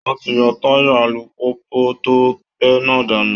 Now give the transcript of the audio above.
Wọ́n ti yọ táyà alùpùpù tó bẹ́ náà dànù